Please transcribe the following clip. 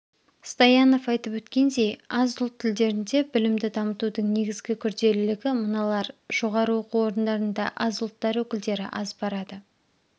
стоянов айтып өткендей аз ұлт тілдерінде білімді дамытудың негізгі күрделілігі мыналар жоғары оқу орындарында аз ұлттар өкілдері аз барады